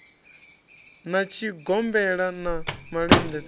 na tshigombela na malende sa